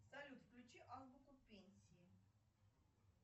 салют включи азбуку пенсии